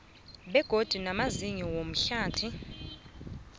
begodu namazinyo womhlathi